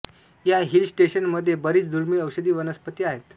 या हिल स्टेशनमध्ये बरीच दुर्मिळ औषधी वनस्पती आहेत